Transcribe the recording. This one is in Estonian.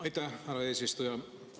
Aitäh, härra eesistuja!